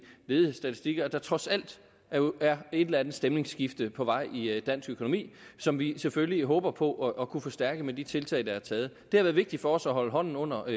ledighedsstatistikker at der trods alt er et eller andet stemningsskifte på vej i dansk økonomi som vi selvfølgelig håber på at kunne forstærke med de tiltag der er taget det har været vigtigt for os at holde hånden under